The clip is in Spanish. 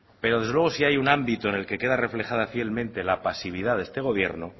pero desde luego si hay un ámbito en el que queda reflejada fielmente la pasividad de este gobierno